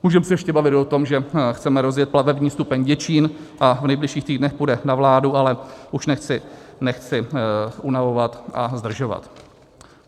Můžeme se ještě bavit o tom, že chceme rozjet plavební stupeň Děčín a v nejbližších týdnech půjde na vládu, ale už nechci unavovat a zdržovat.